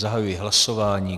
Zahajuji hlasování.